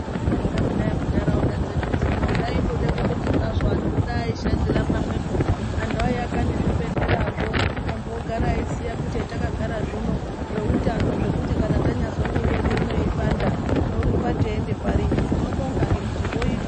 Takanyagara kudayi muntaraunda dzedu dzino zvaindode kuti dayi antu ashandira pamwe eivaka zvibhedhlerazvo antu ogara eiziya kuti takanyagara zvino zveutano zvekuti tanyazwa miri yedu ino yeipanda tinorumba pari. Hino tinobonga ngekuti zvoitwa.